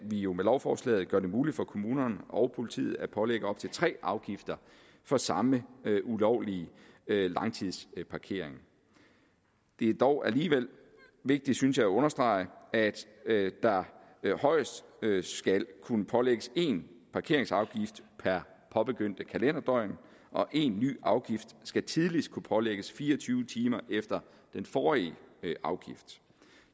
jo med lovforslaget gør det muligt for kommunerne og politiet at pålægge op til tre afgifter for samme ulovlige langtidsparkering det er dog alligevel vigtigt synes jeg at understrege at der højst skal kunne pålægges én parkeringsafgift per påbegyndte kalenderdøgn og en ny afgift skal tidligst kunne pålægges fire og tyve timer efter den forrige afgift